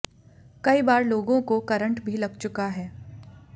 कई बार लोगों को करंट भी लग चुका है